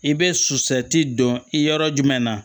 I bɛ susati don i yɔrɔ jumɛn na